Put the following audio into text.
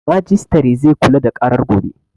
Majistare zai kula da ƙarar gobe